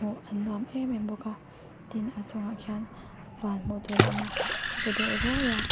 hmuh an nuam emem bawk a tin a chung ah khian van hmuh tur a awm a a paw deuh ruai a.